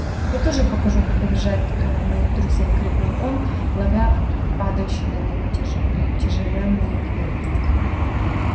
я тебе покажу как обижать моих друзей крикнул он ловя падающие на него тяжеленные книги